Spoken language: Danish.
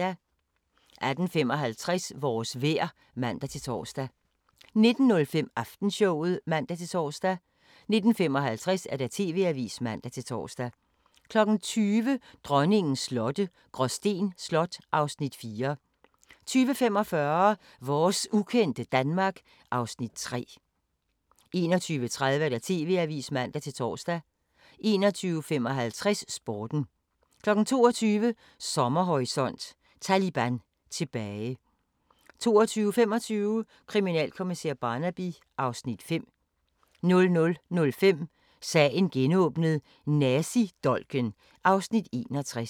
18:55: Vores vejr (man-tor) 19:05: Aftenshowet (man-tor) 19:55: TV-avisen (man-tor) 20:00: Dronningens slotte – Gråsten Slot (Afs. 4) 20:45: Vores ukendte Danmark (Afs. 3) 21:30: TV-avisen (man-tor) 21:55: Sporten 22:00: Sommerhorisont: Taliban tilbage 22:25: Kriminalkommissær Barnaby (Afs. 5) 00:05: Sagen genåbnet: Nazidolken (Afs. 61)